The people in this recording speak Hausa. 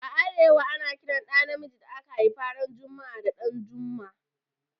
A arewa, ana Kiran ɗa na miji da aka haifa ran jumua'a da 'Danjuma'.